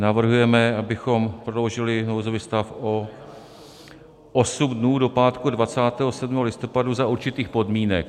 Navrhujeme, abychom prodloužili nouzový stav o osm dnů, do pátku 27. listopadu, za určitých podmínek.